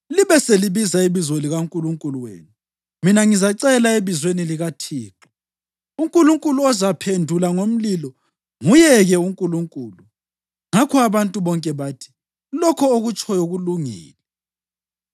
Libe selibiza ibizo likankulunkulu wenu mina ngizacela ebizweni likaThixo. Unkulunkulu ozaphendula ngomlilo, nguye-ke uNkulunkulu.” Ngakho abantu bonke bathi, “Lokho okutshoyo kulungile.”